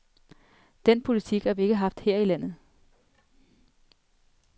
Den politik har vi ikke haft her i landet.